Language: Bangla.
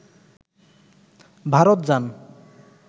ভারত যান